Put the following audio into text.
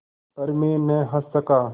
पर मैं न हँस सका